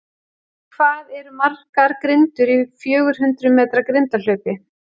Hvað eru margar grindur í fjögur hundrað metra grindahlaupi?